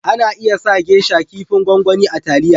Ana iya sa " geisha " Kipin gwangwani a taliya